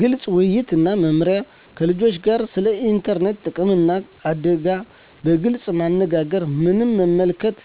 ግልፅ ውይይት እና መመሪያ ከልጆቻቸው ጋር ስለ ኢንተርኔት ጥቅምና አደጋ በግልፅ መነጋገር ምን መመልከት